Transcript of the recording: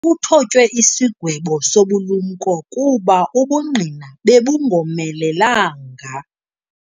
Kuthotywe isigwebo sobulumko kuba ubungqina bebungomelelanga.